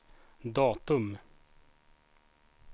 datum